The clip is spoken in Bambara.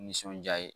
Nisɔndiya ye